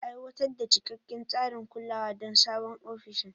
Aiwatar da cikakken tsarin kulawa don sabon ofishin.